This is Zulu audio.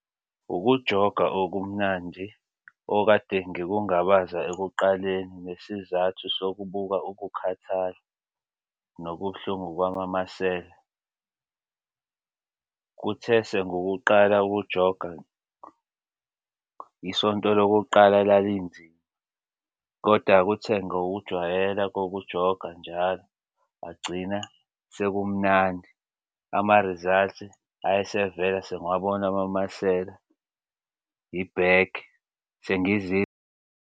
Ukujoga okumnandi okade ngikungabaza ekuqaleni ngesizathu sokubhuka ukukhathala nobuhlungu kwamamasela. Kuthese ngokuqala ukujonga isonto lokuqala lalinzima koda kuthe ngokujwayela kokujoga njalo ngagcina sekumnandi amarizalthi ayesevela sengiwabona amamasela ibhekhi .